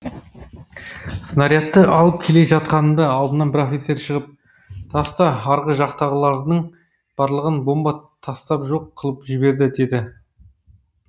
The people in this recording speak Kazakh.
снарядты алып келе жатқанымда алдымнан бір офицер шығып таста арғы жақтағылардың барлығын бомба тастап жоқ қылып жіберді деді